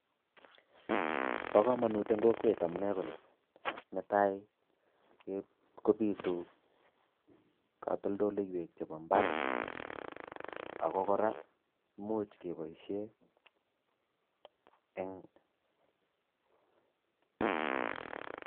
Bokomanut eng kokwet amune konii ,nee tai kobitu katoltolewek chebo ibaar ako kora muuch kee boishei eng